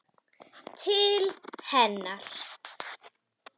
Til hennar.